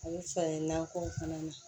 A bɛ falen nakɔ fana na